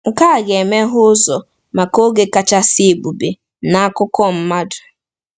Nke a ga-emeghe ụzọ maka oge kachasị ebube n’akụkọ mmadụ.